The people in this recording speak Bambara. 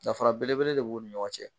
Dafara belebele de b'u ni ɲɔgɔn cɛ.